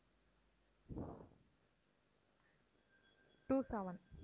two seven